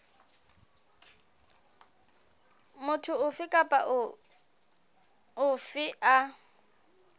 motho ofe kapa ofe a